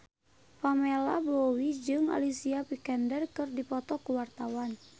Pamela Bowie jeung Alicia Vikander keur dipoto ku wartawan